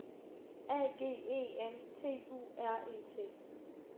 A G E N T U R E T